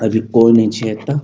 अभी कोई नइ छे एकटा --